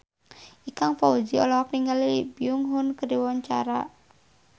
Ikang Fawzi olohok ningali Lee Byung Hun keur diwawancara